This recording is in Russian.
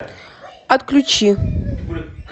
отключи